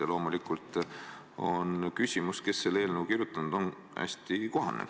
Ja loomulikult on küsimus, kes selle eelnõu kirjutanud on, hästi kohane.